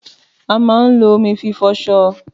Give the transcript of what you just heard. Àmà ń ló òmí fí fọsọ.